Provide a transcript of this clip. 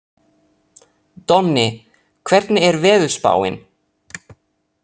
Donni, hvernig er veðurspáin?